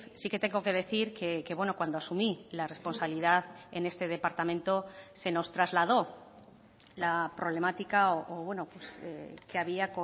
sí que tengo que decir que cuando asumí la responsabilidad en este departamento se nos trasladó la problemática que había